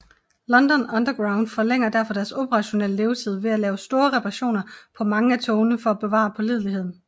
London Underground forlænger derfor deres operationelle levetid ved at lave store reparationer på mange af togene for at bevare pålideligheden